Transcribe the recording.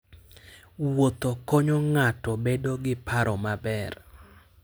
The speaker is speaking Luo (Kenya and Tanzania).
Wuotho konyo ng'ato bedo gi paro maber.